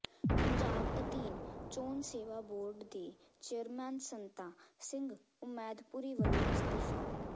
ਪੰਜਾਬ ਅਧੀਨ ਚੋਣ ਸੇਵਾ ਬੋਰਡ ਦੇ ਚੇਅਰਮੈਨ ਸੰਤਾ ਸਿੰਘ ਉਮੈਦਪੁਰੀ ਵਲੋਂ ਅਸਤੀਫਾ